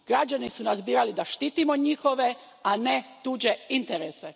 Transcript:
Građani su nas birali da štitimo njihove, a ne tuđe interese.